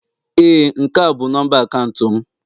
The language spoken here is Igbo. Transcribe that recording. Ee, nke a bụ nọmba akaụntụ m